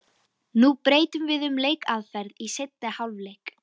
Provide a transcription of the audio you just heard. Nú breytum við um leikaðferð í seinni hálfleik.